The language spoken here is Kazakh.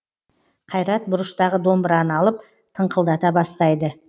қайрат бұрыштағы домбыраны алып тыңқылдата бастайды